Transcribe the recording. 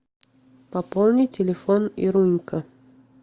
пополни телефон ирунька